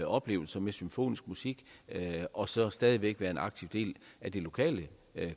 oplevelser med symfonisk musik og så stadig væk være en aktiv del af det lokale